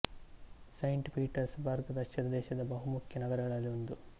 Saint Petersburg Russia ದೇಶದ ಬಹು ಮುಖ್ಯ ನಗರಗಳಲ್ಲಿ ಒಂದು